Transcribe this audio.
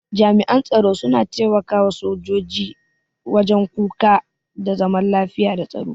Jami'an tsaro suna taimaka sojoji wajen kuka da zaman lafiya da tsaro.